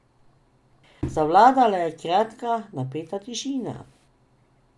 Zavladala je kratka, napeta tišina.